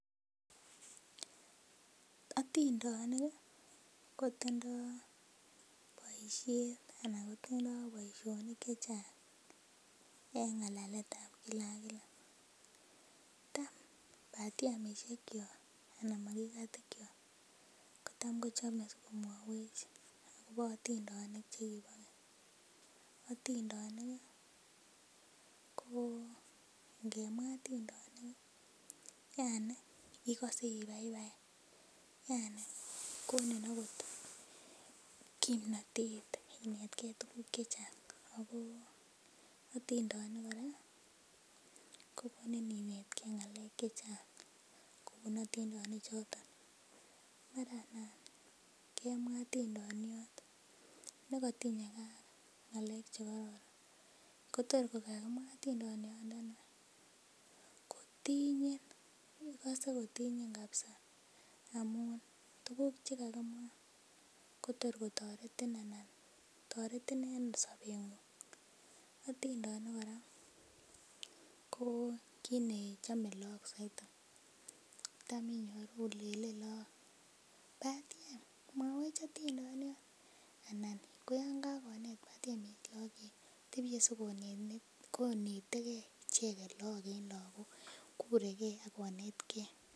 Otindonik kotindoo boisiet ana kotindoo boisionik chechang en ng'alaletab kila ak kila tam batiemisiek kyok anan makikat ikyok kotam kochome sikomwowech akobo otindonik chekibo keny. Otindonik ih ko ngemwaa otindonik ih yani ikose ibaibai yani konin okot kimnotet inetgee tuguk chechang ako otindonik kora kokonin inetgee ng'alek chechang kobun otindonik chechang mara nan kemwaa otindoniot nekotinyegee ak ng'alek chekoron ko tor kokakimwaa otindoniot ndoni kotinyin ikose kokotinyin kabisa amun tuguk chekakimwaa kotor kotoretin anan toretin en sobeng'ung, otindonik kora ko kit nechome look soiti tam inyoru lenen look batiem mwowech otindoniot anan ko yan kakonet batiem look kotebie sikonetegee icheket look en lakok kure gee akonetgee